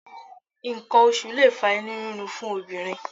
Nǹkan oṣù lè fa inú rírun fún obìnrin